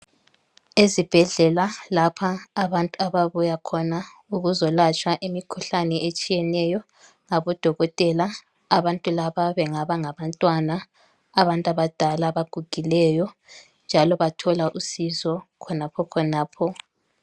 Ezibhedlela lapha abantu ababuya khona ukuzolatshwa imikhuhlane etshiyeneyo ngabodokotela. Abantu laba bengaba ngabantwana, abantu abadal' abagugileyo njalo bathola usizo khonapho khonapho.